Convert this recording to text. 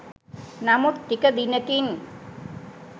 නමුත් ටික දිනකින්